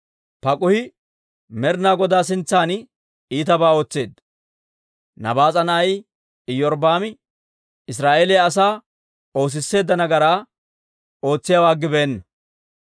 Paak'uhi Med'ina Godaa sintsan iitabaa ootseedda; Nabaas'a na'ay Iyorbbaami Israa'eeliyaa asaa oosisseedda nagaraa ootsiyaawaa aggibeenna.